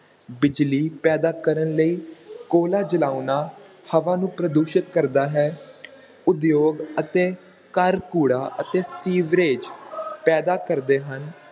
ਬਿਜਲੀ ਪੈਦਾ ਕਰਨ ਲਈ ਕੋਲਾ ਜਲਾਉਣਾ ਹਵਾ ਨੂੰ ਪ੍ਰਦੂਸ਼ਿਤ ਕਰਦਾ ਹੈ ਉਦਯੋਗ ਅਤੇ ਘਰ ਕੂੜਾ ਅਤੇ ਸੀਵਰੇਜ ਪੈਦਾ ਕਰਦੇ ਹਨ l